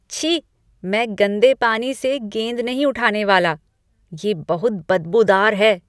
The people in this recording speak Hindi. छी, मैं गंदे पानी से गेंद नहीं उठाने वाला। ये बहुत बदबूदार है।